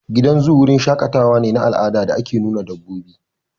Gidan zoo wurin shaƙatawa ne na al'ada da ake nuna dabbobi